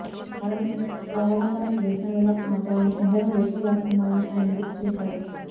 భారత్ ను స్వావలంబన దేశంగగా మార్చాలని ఎందరో లేఖలు రాస్తున్నారని ఆయన గుర్తు చేశారు